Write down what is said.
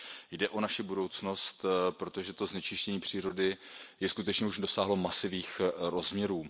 Jde o naši budoucnost, protože to znečištění přírody již skutečně dosáhlo masivních rozměrů.